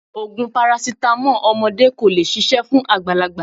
Ògùn parasítámọ̀ ọmọdé kò lè ṣiṣẹ̀ fún àgbàlagbà.